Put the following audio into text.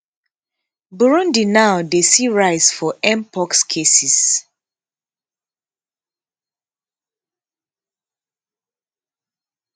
burundi now dey see rise for mpox cases